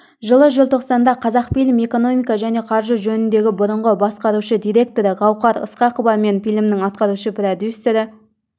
жылы желтоқсанда қазақфильм экономика және қаржы жөніндегі бұрынғы басқарушы директоры гауһар ысқақова мен фильмнің атқарушы продюсері